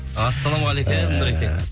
ассалаумағалейкем нұреке